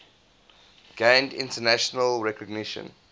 gained international recognition